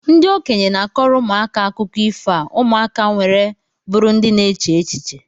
Ndi okenye na-akọrọ ụmụaka akụkọ ifo a ụmụka nwere bụrụ ndị na-eche echiche